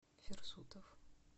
фирсутов